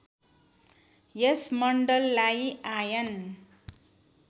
यस मण्डललाई आयन